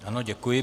Ano, děkuji.